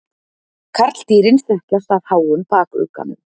Karldýrin þekkjast af háum bakugganum.